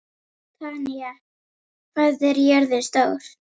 Tanya, hvað er jörðin stór?